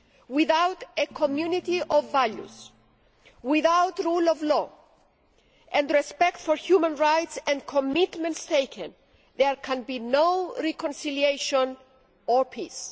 Without a community of values, without the rule of law and respect for human rights and commitments taken, there can be no reconciliation or peace.